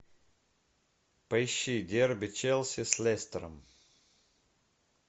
поищи дерби челси с лестером